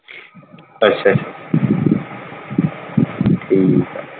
ਅੱਛਾ ਠੀਕ ਆ।